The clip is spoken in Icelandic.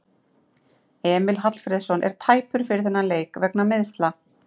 Emil Hallfreðsson er tæpur fyrir þann leik vegna meiðsla.